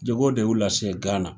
Jago de y'u lase Gana.